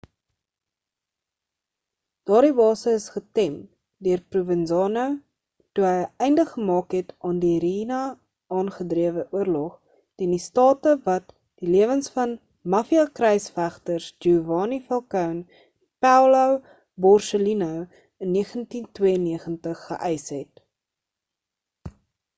daardie base is getem deur provenzano toe hy 'n einde gemaak het aan die riina-aangedrewe oorlog teen die staat wat die lewens van mafia kruisvegters giovanni falcone en paolo borsellino in 1992 geeïs het